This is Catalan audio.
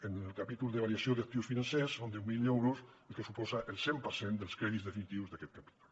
en el capítol de variació d’actius financers són deu mil euros el que suposa el cent per cent dels crèdits definitius d’aquest capítol